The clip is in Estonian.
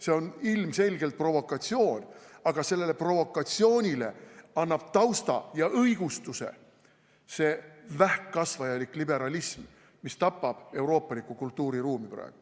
See on ilmselgelt provokatsioon, aga sellele provokatsioonile annab tausta ja õigustuse see vähkkasvaja elik liberalism, mis tapab praegu euroopalikku kultuuriruumi.